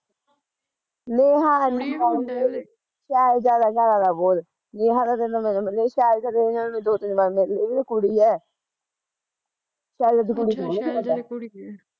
ਕੁੜੀ ਐ ਕਿ ਮੁੰਡਾ ਐ ਉਹਦੇ